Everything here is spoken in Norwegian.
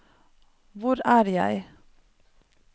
hvor er jeg